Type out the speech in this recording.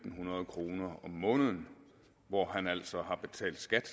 hundrede kroner om måneden hvor han altså har betalt skat